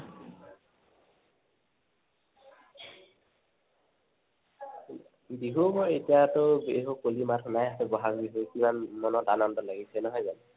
বিহু ময়, এতিয়াটো বিহু পুৰ্নিমা খন হে আছে, বহাগ বিহু, কিমান মনত আনন্দ লাগিছে, নহৈ যানো?